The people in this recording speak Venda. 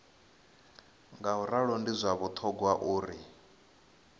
ngauralo ndi zwa vhuṱhogwa uri